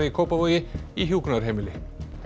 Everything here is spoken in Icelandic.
í Kópavogi í hjúkrunarheimili